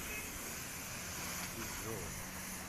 ичжоу